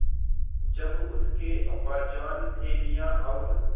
जब उसके अब्बाजान थैलियाँ और